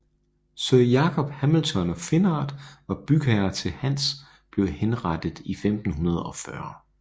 Sir Jakob Hamilton of Finnart var bygherre til hans blev henrettet i 1540